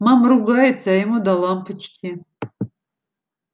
мама ругается а ему до лампочки